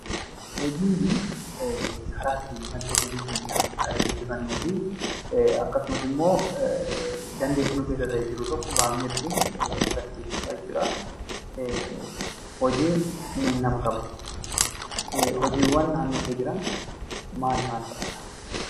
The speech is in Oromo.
Hojiinii karaa ittiin madda galii keenyaa guddifannuu fi akkasumas immoo dandeettii nu keessa jiru tokko baafnee ittiin agarsiisnuu dha jechuu dha. Hojiin nama kabachiisa. Hojiiwwan naannoo kee jiran maal maal faa dha?